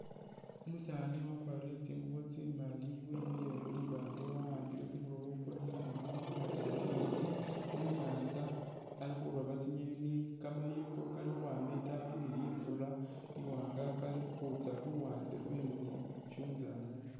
Umusaani wakwalire tsingubo tsimaali wemile khulibaale wawambile kumuloobo kwewe mungoono wamwatile mumeetse munyanza ali khurooba tsingeni kamayengo kali khukhwama itaayi ni lifuulo liwaanga kali khukhwitsa luwande lweno isi umusaani ali